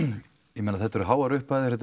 ég meina þetta eru háar upphæðir þetta